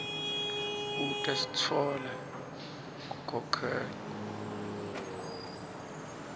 kute sitfola kukhokhela